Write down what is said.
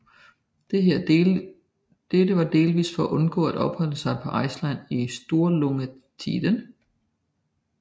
Dette var delvis for at undgå at opholde sig på Island i Sturlungatiden